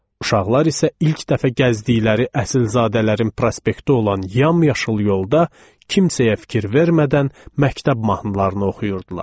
Uşaqlar isə ilk dəfə gəzdikləri əsilzadələrin prospekti olan yamyaşıl yolda kimsəyə fikir vermədən məktəb mahnılarını oxuyurdular.